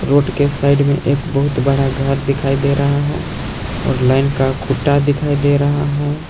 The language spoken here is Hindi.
रोड के साइड में एक बहुत बड़ा घर दिखाई दे रहा है और लाइन का खूंटा दिखाई दे रहा है।